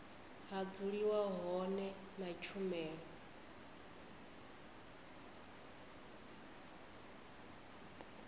ha dzuliwa hone na tshumelo